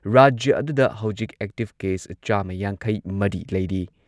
ꯔꯥꯖ꯭ꯌ ꯑꯗꯨꯗ ꯍꯧꯖꯤꯛ ꯑꯦꯛꯇꯤꯚ ꯀꯦꯁ ꯆꯥꯝꯃ ꯌꯥꯡꯈꯩꯃꯔꯤ ꯂꯩꯔꯤ꯫